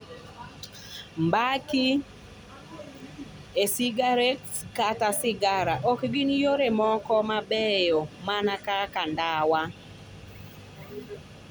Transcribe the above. Mbaki, e cigarettes kata cigars ok gin yore moko mabeyo mana kaka ndawa.